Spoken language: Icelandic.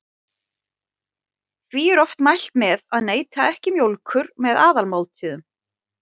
Því er oft mælt með að neyta ekki mjólkur með aðalmáltíðum.